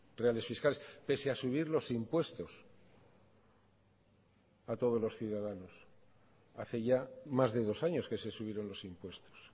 reales fiscales pese a subir los impuestos a todos los ciudadanos hace ya más de dos años que se subieron los impuestos